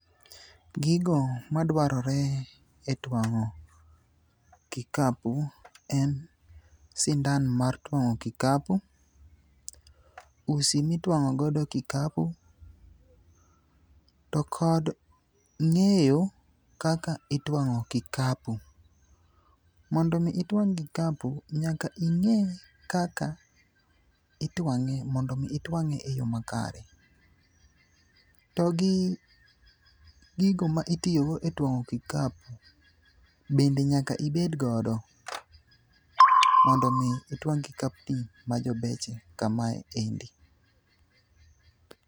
Gigo ma dwarore e twang'o kikapu en sindan mar twang'o kikapu, usi mitwang'o godo kikapu, to kod ng'eyo kaka itwang'o kikapu. Mondo mi itwang' kikapu, nyaka ing'e kaka itwang'e mondo mi itwang'e e yo ma kare. To gi gigo ma itiyogo e twang'o kikapu, bende nyaka ibed godo, mondo mi itwang' kikapni ma jobeche kamae endi.